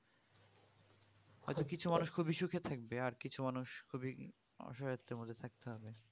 হয়তো কিছু মানুষ খুবই সুখে থাকবে আর কিছু মানুষ খুবই অসহায়তার মধ্যে থাকতে হবে